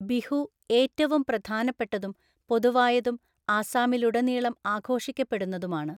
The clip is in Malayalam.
ബിഹു ഏറ്റവും പ്രധാനപ്പെട്ടതും പൊതുവായതും ആസാമിലുടനീളം ആഘോഷിക്കപ്പെടുന്നതുമാണ്.